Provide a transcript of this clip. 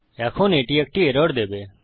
এখন এটি একটি এরর দেবে